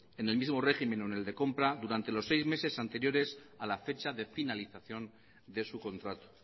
en el mismo régimen o en el de compra durante los seis meses anteriores a la fecha de finalización de su contrato